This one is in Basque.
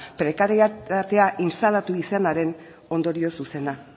prekarietatea instalatu izanaren ondorio zuzena